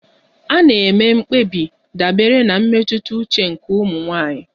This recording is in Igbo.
A na-eme mkpebi dabere na mmetụta uche nke ụmụ nwanyị.